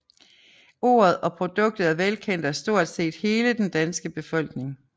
Ordet og produktet er velkendt af stort set hele den danske befolkning